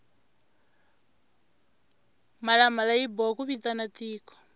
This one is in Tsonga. mhlalamhlala yi biwa ku vitana tiko